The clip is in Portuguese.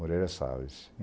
Moreira Salles.